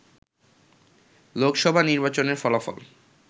লোকসভা নির্বাচনের ফলাফল